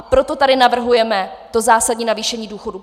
A proto tady navrhujeme to zásadní navýšení důchodů.